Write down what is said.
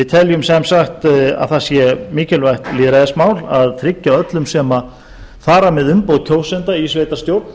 teljum sem sagt að það sé mikilvægt lýðræðismál að tryggja öllum sem fara með umboð kjósenda í sveitarstjórn